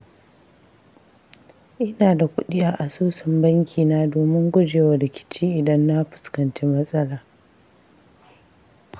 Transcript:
Ina da kuɗi a asusun bankina domin guje wa rikici idan na fuskanci matsala.